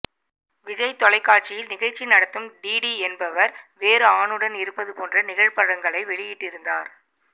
விஜய் தொலைக்காட்சியில் நிகழ்ச்சி நடத்தும் டிடி என்பவர் வேறு ஆணுடன் இருப்பது போன்ற நிழற்படங்களை வெளியிட்டிருந்தார்